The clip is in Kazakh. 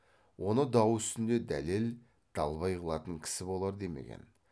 оны дау үстінде дәлел далбай қылатын кісі болар демеген